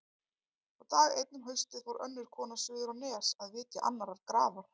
Og dag einn um haustið fór önnur kona suður á Nes að vitja annarrar grafar.